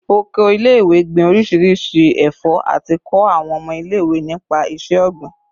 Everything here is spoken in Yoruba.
Oko ile-iwe gbin orisirisi ẹfọ ati kọ awọn ọmọ ile-iwe nipa iṣẹ-ogbin